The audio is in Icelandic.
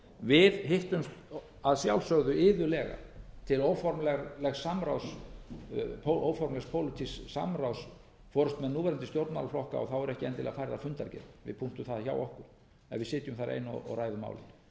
við hittumst að sjálfsögðu iðulega til óformlegs pólitísks samráðs forustumenn núverandi stjórnmálaflokka eru ekki endilega færðar fundargerðir við punktum það hjá okkur en við sitjum þar ein og ræðum málin